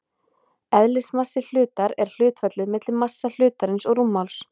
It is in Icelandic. Eðlismassi hlutar er hlutfallið milli massa hlutarins og rúmmáls.